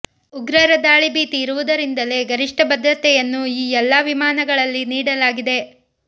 ಉಗ್ರರ ದಾಳಿ ಭೀತಿ ಇರುವುದರಿಂದಲೇ ಗರಿಷ್ಠ ಭದ್ರತೆಯನ್ನು ಈ ಎಲ್ಲ ವಿಮಾನಗಳಲ್ಲಿ ನೀಡಲಾಗಿದೆ